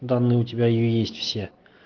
данные у тебя есть все